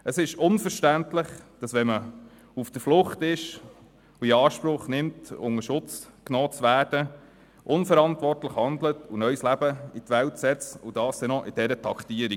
Es ist unverständlich, dass man, wenn man auf der Flucht ist und in Anspruch nimmt, Schutz zu erhalten, so unverantwortlich handelt und neues Leben in die Welt setzt, und dies auch noch in einer so hohen Kadenz.